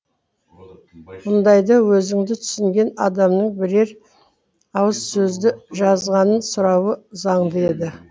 мұндайда өзіңді түсінген адамның бірер ауыз сөзді жазғанын сұрауы заңды еді